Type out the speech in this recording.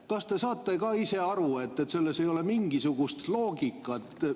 Kas te saate ka ise aru, et selles ei ole mingisugust loogikat?